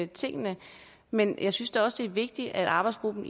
tingene men jeg synes da også det er vigtigt at arbejdsgruppen